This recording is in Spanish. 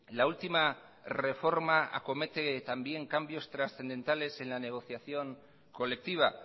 la última reforma acomete también cambios trascendentales en la negociación colectiva